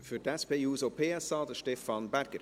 Für die SP-JUSO-PSA-Fraktion, Stefan Berger.